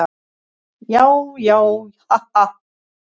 Já, já, ha, ha.